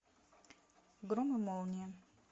гром и молния